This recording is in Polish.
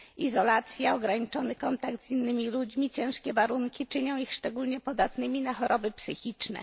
Izolacja, ograniczony kontakt z innymi ludźmi, ciężkie warunki czynią ich szczególnie podatnymi na choroby psychiczne.